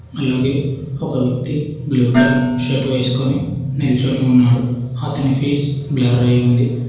అలాగే ఒక వ్యక్తి బ్లూ కలర్ షర్ట్ వేసుకొని నిల్చొని ఉన్నాడు అతని ఫేస్ బ్లర్ అయి ఉంది.